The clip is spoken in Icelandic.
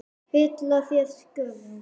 Fylla þeir skörðin?